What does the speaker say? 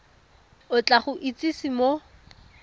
o tla go itsise mo